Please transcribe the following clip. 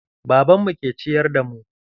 Babanmu ke ciyar da mu.